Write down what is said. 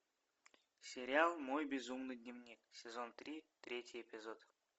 сериал мой безумный дневник сезон три третий эпизод